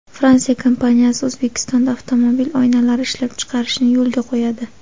Fransiya kompaniyasi O‘zbekistonda avtomobil oynalari ishlab chiqarishni yo‘lga qo‘yadi.